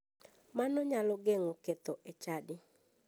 Mano nyalo geng'o ketho e chadi.